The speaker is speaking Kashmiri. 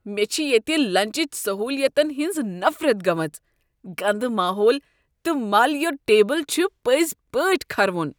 مےٚ چھ ییٚتہ لنچٕچ سہولیتن ہنز نفرت گٔمٕژ ،گندٕ ماحول تہٕ ملیُت ٹیبل چھ پٕزِۍ پٲٹھۍ كھروُن